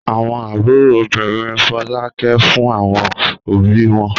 Àwọn àbúrò obìnrin Folú ń ké fún àwọn òbí wọn.